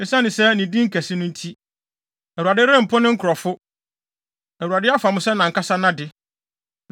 Esiane ne din kɛse no nti, Awurade rempo ne nkurɔfo. Awurade afa mo sɛ nʼankasa nʼade.